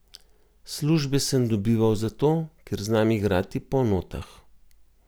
Službe sem dobival zato, ker znam igrati po notah.